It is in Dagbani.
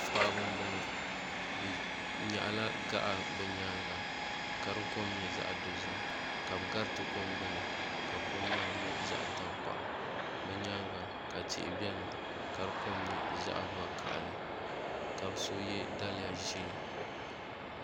paɣaba m-bɔŋɔ bɛ nyaɣi la gaɣa bɛ nyaaga ka di kom nyɛ zaɣ' dozim ka bɛ gariti kom gbuni ka kom maa nyɛ zaɣ' tankpaɣu bɛ nyaaga ka tihi be ka di kom nyɛ zaɣ' vakahili ka bɛ so ye liiga ʒee.